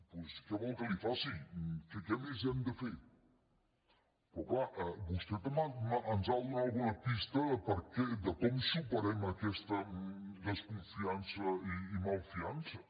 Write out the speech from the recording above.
doncs què vol que li faci què més hem de fer però és clar vostè també ens ha de donar alguna pista de com superem aquesta desconfiança i malfiança